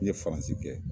N ye faransi kɛ